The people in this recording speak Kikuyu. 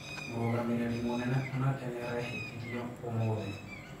Murugamiriri munenene onake niaraihitithio ũmuthi.